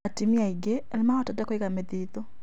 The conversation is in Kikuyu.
Atumia aingĩ nĩmahotete kũiga mĩthithũ